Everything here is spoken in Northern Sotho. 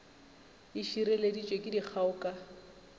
e šireleditšwe ke dikgao ka